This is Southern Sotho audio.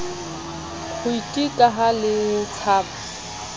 kgwiti ka ha le tshaba